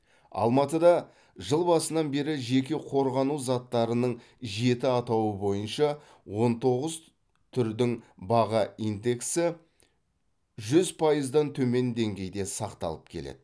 алматыда жыл басынан бері жеке қорғану заттарының жеті атауы бойынша он тоғыз түрдің баға индексі жүз пайыздан төмен деңгейде сақталып келеді